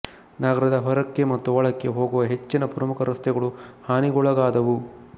ನಗರದ ಹೊರಕ್ಕೆ ಮತ್ತು ಒಳಕ್ಕೆ ಹೋಗುವ ಹೆಚ್ಚಿನ ಪ್ರಮುಖ ರಸ್ತೆಗಳು ಹಾನಿಗೊಳಗಾದವು